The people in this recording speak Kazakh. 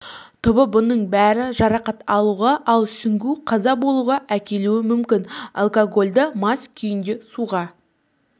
түбі бұның бәрі жарақат алуға ал сүңгу қаза болуға әкелуі мүмкін алкогольді мас күйінде суға